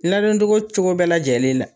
Ladon togo cogo bɛɛ lajɛlen la.